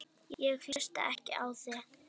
Ég hlusta ekki á þig!